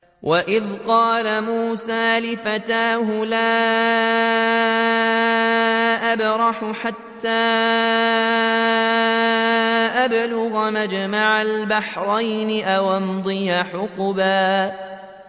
وَإِذْ قَالَ مُوسَىٰ لِفَتَاهُ لَا أَبْرَحُ حَتَّىٰ أَبْلُغَ مَجْمَعَ الْبَحْرَيْنِ أَوْ أَمْضِيَ حُقُبًا